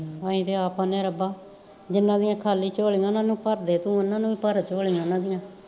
ਅਸੀਂ ਤੀ ਆਪ ਕਹਿਣੇ ਆ ਰੱਬਾ ਜਿੰਨਾਂ ਦੀਆਂ ਖਾਲੀ ਝੋਲੀਆਂ ਓਨਾ ਨੂੰ ਭਰਦੇ ਤੂੰ ਓਨਾ ਨੂੰ ਈ ਭਰ ਝੋਲੀਆਂ ਓਨਾ ਦੀਆਂ